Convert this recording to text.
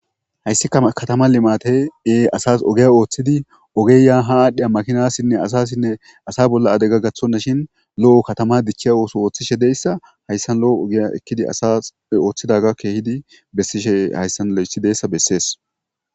hayssika katama limate ee asas ogeya ooththidi ogeyaa ha aadhdhi a makinassinne asasinne asa bolla ade gag gathonna shin lo7o katama dichchiya ooso ooththishe deyssa hayssan lo7o ogiya ekkidi asas ooththidaga keehidi bessishe hayssan lo7essidessa bessees